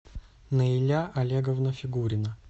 наиля олеговна фигурина